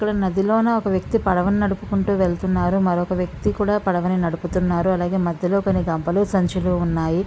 ఇక్కడ నదిలోన ఒక వ్యక్తి పడవను నడుపుకుంటూ వెళ్తున్నారు మరొక వ్యక్తి కూడ పడవను నడుపుతున్నారు అలాగే మధ్యలో కొన్ని గంపలు సంచులు ఉన్నాయి.